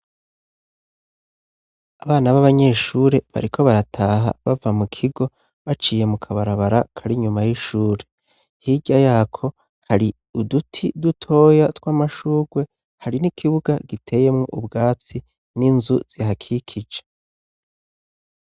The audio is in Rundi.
Abana b'abanyeshuri bariko barataha bava mu kigo baciye mu kabarabara karI inyuma y'ishuri hirya yako hari uduti dutoya tw'amashugwe hari n'ikibuga giteyemwo ubwatsi n'inzu zihakikije.